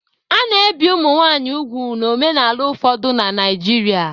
A na-ebi ụmụ nwanyị úgwù n'omenala ụfọdụ na Naijiria.